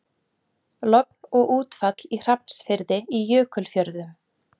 Logn og útfall í Hrafnsfirði í Jökulfjörðum.